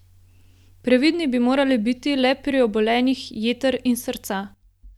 Previdni bi morali biti le pri obolenjih jeter in srca.